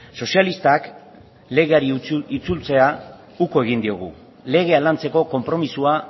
sozialistak legeari itzultzea uko egin diogu legea lantzeko konpromisoa